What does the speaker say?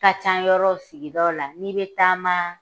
Ka can yɔrɔ sigidaw la n'i be taama